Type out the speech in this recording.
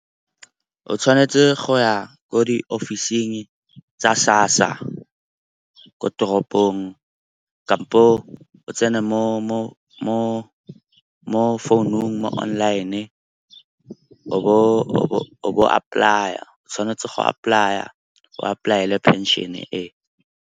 O tshwanetse go ya ko diofising tsa SASSA ko toropong kampo o tsena mo founung online-e o bo apply-a. O tshwanetse go apply-a, o apply-ele phenšene e.